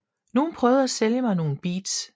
Nogle prøvede at sælge mig nogle beads